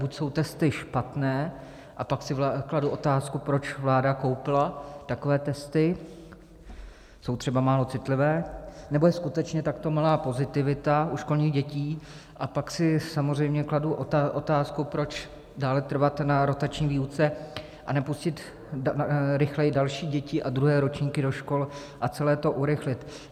Buď jsou testy špatné, a pak si kladu otázku, proč vláda koupila takové testy, jsou třeba málo citlivé, nebo je skutečně takto malá pozitivita u školních dětí, a pak si samozřejmě kladu otázku, proč dále trvat na rotační výuce a nepustit rychleji další děti a druhé ročníky do škol a celé to urychlit.